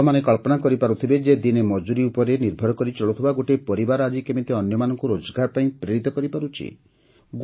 ଆପଣମାନେ କଳ୍ପନା କରିପାରୁଥିବେ ଯେ ଦିନେ ମଜୁରୀ ଉପରେ ନିର୍ଭର କରି ଚଳୁଥିବା ଗୋଟିଏ ପରିବାର ଆଜି କେମିତି ଅନ୍ୟମାନଙ୍କୁ ରୋଜଗାର ପାଇଁ ପ୍ରେରିତ କରିପାରୁଛି